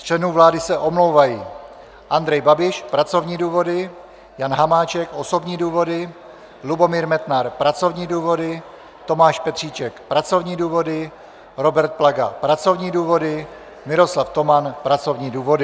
Z členů vlády se omlouvají: Andrej Babiš - pracovní důvody, Jan Hamáček - osobní důvody, Lubomír Metnar - pracovní důvody, Tomáš Petříček - pracovní důvody, Robert Plaga - pracovní důvody, Miroslav Toman - pracovní důvody.